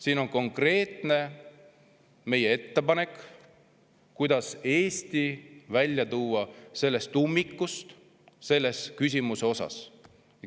Siin on meie konkreetne ettepanek, kuidas tuua Eesti selles küsimuses ummikust välja.